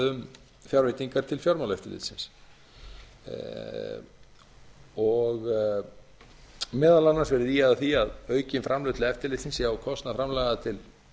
um fjárveitingar til fjármálaeftirlitsins meðal annars var ýjað að því að aukin framlög til eftirlitsins sé á kostnað framlaga til